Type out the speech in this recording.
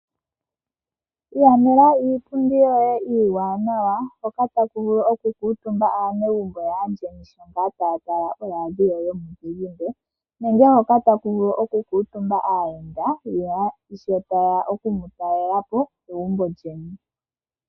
Ilandela iipundi yoye iiwanawa hoka taku vulu okulila aanegumbo yaandjeni shampa tayali nenge taya tala ooradio yomuzizimba ,nenge hoka taku vulu oku kutumba aayenda sho tayeya okumu talela po.